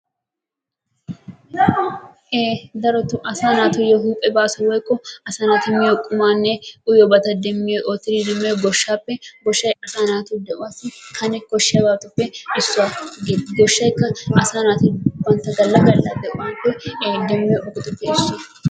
Daroto asaa naatuyo huuphe baaso woyikko asaa naati miyo qumaanne uyiyoobata demmiyo oottiri demmiyo goshshaappe. Goshshay asaa naatu de"uwaassi kane koshshiyaabatuppe issuwa. goshshayikka asaa naati bantta galla galla de"iide demmiyo ogetuppe issuwa.